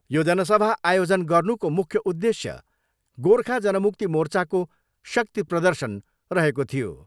यो जनसभा आयोजन गर्नुको मुख्य उद्देश्य गोर्खा जनमुक्ति मोर्चाको शक्ति प्रर्दशन रहेको थियो।